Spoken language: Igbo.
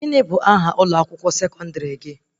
Gịnị bụ aha ụlọ akwụkwọ sekọndrị gị?